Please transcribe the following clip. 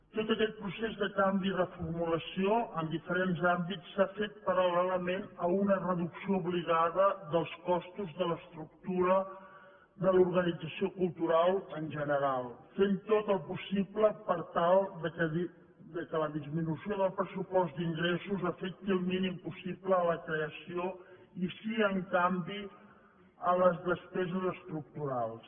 tot aquest procés de canvi i reformulació en diferents àmbits s’ha fet paral·lelament a una reducció obligada dels costos de l’estructura de l’organització cultural en general fent tot el possible per tal que la disminució del pressupost d’ingressos afecti el mínim possible la creació i sí en canvi les despeses estructurals